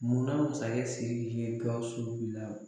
Munna masakɛ Siriki ye Gawusu bila